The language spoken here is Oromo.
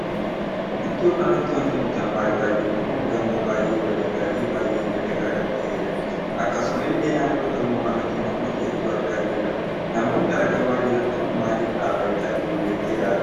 Iddoo kanatti wanti nuti amma argaa jirru kun gamoo baay'ee bareedaa Fi baay'ee miidhagaa kan taheedha. akkasuma illee naannoo gamoo kanaatti namoota hedduu argaa jirra. namoonni amma argamaa jiran kun maaliif dhaabbachaa jiru jettee yaadda?